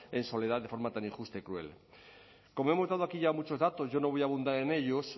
en soledad de forma tan injusta y cruel como hemos dado aquí ya muchos datos yo no voy a abundar en ellos